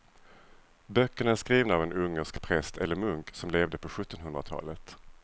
Böckerna är skrivna av en ungersk präst eller munk som levde på sjuttonhundratalet.